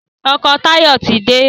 ọkọ Tayo tí dé